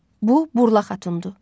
Bu Burla Xatundur.